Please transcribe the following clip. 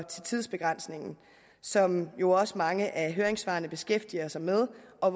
tidsbegrænsningen som jo også mange af høringssvarene beskæftiger sig med og